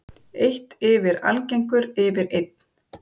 Eitt yfir allagengur yfir einn.